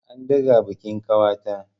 An ɗaga bikin ƙawata.